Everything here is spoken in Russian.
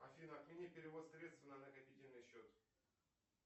афина отмени перевод средств на накопительный счет